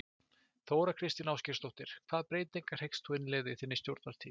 Þóra Kristín Ásgeirsdóttir: Hvaða breytingar hyggst þú innleiða í þinni stjórnartíð?